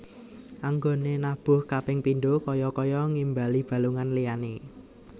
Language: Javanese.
Anggoné nabuh kaping pindho kaya kaya ngimbali balungan liyané